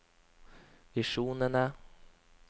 visjonene